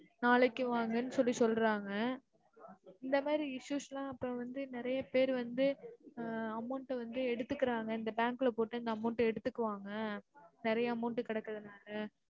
நாளைக்கு வாங்கன்னு சொல்லி சொல்றாங்க இந்த மாதிரி issues லா இப்ப வந்து நிறைய பேரு வந்து ஆஹ் amount ட வந்து எடுத்துக்குறாங்க இந்த bank ல போட்டா amount ட வந்து எடுத்துக்குவாங்க நிறைய amount டு கிடக்குரன்றனால